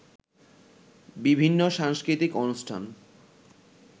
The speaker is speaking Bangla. বিভিন্ন সাংস্কৃতিক অনুষ্ঠান